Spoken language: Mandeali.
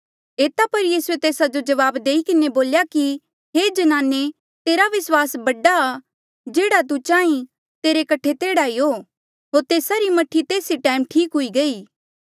एता पर यीसूए तेस्सा जो जवाब देई किन्हें बोल्या कि हे ज्नाने तेरा विस्वास बडा आ जेह्ड़ा तू चाहीं तेरे कठे तेह्ड़ा ई हो होर तेस्सा री मह्ठी तेस ई टैम ठीक हुई गई